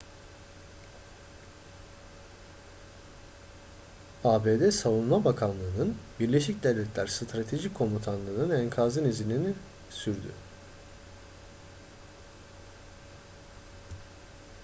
abd savunma bakanlığının birleşik devletler stratejik komutanlığının enkazın izini sürüyor